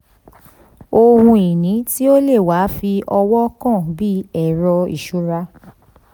ohun ìní tí o le wa fi ọwọ́ kàn bí ẹrọ iṣura.